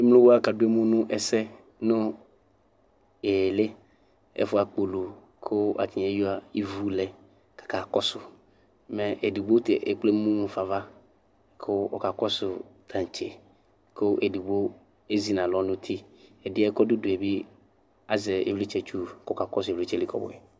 Emlo wa kadʋ emu nʋ ɛsɛ nʋ ɩɣɩlɩ, ɛfʋ akpolu kʋ atanɩ eyuǝ ivu lɛ kʋ akakɔsʋ. Mɛ edigbo ta ekple emu mu fa ava kʋ ɔkakɔsʋ taŋtse kʋ edigbo ezi nʋ alɔ nʋ uti. Ɛdɩ yɛ kʋ ɔdʋ udu yɛ bɩ azɛ ɩvlɩtsɛtsu kʋ ɔkakɔsʋ ɩvlɩtsɛ li kɔbʋɛ.